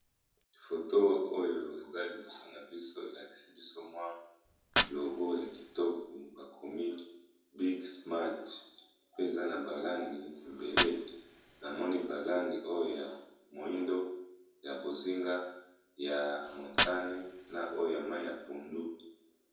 Foto oyo eza liboso na biso elakisi biso mwa logo ya kitoko bakomi Big smart pe eza na ba langi ebele namoni ba langi oyo ya moyindo ya bozinga ya montane na oyo ya mayi ya pondu.